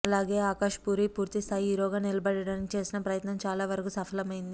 అలాగే ఆకాష్ పూరి పూర్తి స్థాయి హీరోగా నిలబడటానికి చేసిన ప్రయత్నం చాలా వరకు సఫలమైంది